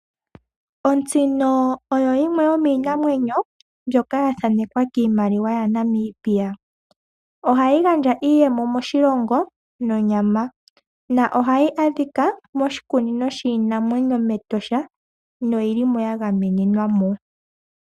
Otsino oyo yimwe yomiinamwenyo mbyoka yathanekwa kiimaliwa yaNamibia. Ohayi gandja iiyemo moshilongo nonyama, na ohayi adhika moshikunino shiinamwenyo mEtosha noyilimo yagamenenwamo.